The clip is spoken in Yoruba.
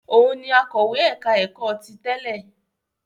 Òun ni akọ̀wé ẹ̀ka-ẹ̀kọ́ ti tẹ́lẹ̀?